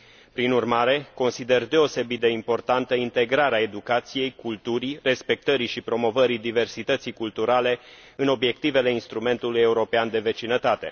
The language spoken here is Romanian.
Prin urmare, consider deosebit de importantă integrarea educației, culturii, respectării și promovării diversității culturale în obiectivele Instrumentului european de vecinătate.